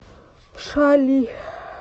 шали